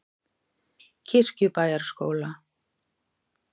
Kirkjubæjarskóla